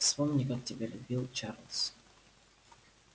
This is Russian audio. вспомни как тебя любил чарлз